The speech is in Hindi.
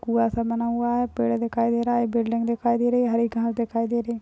कुंआ- सा बना हुआ है पेड़ दिखाई दे रहा है एक बिल्डिंग दिखाई दे रही है हरी घास दिखाई दे रही हैं।